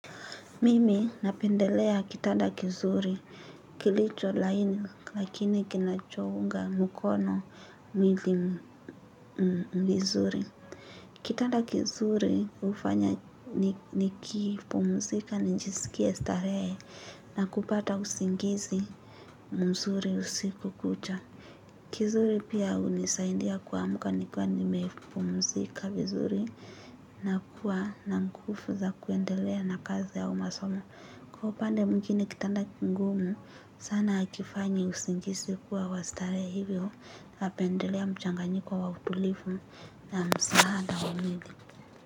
Mimi napendelea kitanda kizuri kilicho laini lakini kinachounga mukono milii vizuri. Kitanda kizuri hufanya nikipumzika nijisikie starehe na kupata usingizi mzuri usiku kucha. Kizuri pia unisaindia kuamka nikiwa nimepumzika vizuri na kuwa na nkufu za kuendelea na kazi au masomo. Kwa upande mwingine kitanda kingumu sana akifanyi usingisi kuwa wa starehe hivyo. Napendelea mchanganyiko wa utulifu na msahada wa mwili.